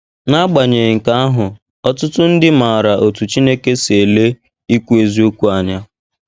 N’agbanyeghị nke ahụ, ọtụtụ ndị maara otú Chineke si ele ikwu eziokwu anya.